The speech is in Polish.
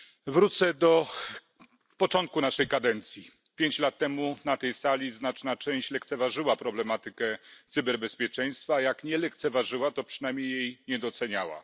Wrócę do początku naszej kadencji pięć lat temu na tej sali znaczna część lekceważyła problematykę cyberbezpieczeństwa, a jak nie lekceważyła, to przynajmniej jej nie doceniała.